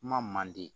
Kuma man di